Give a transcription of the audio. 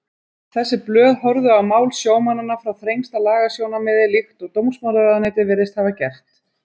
Þessi blöð horfðu á mál sjómannanna frá þrengsta lagasjónarmiði líkt og dómsmálaráðuneytið virðist hafa gert.